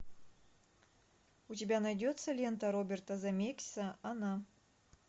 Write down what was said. у тебя найдется лента роберта земекиса она